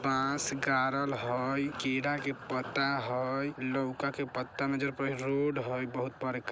बांस गाड़ल हई केला का पत्ता हई लौका के पत्ते में जड़ रोड हई बहुत बड़का।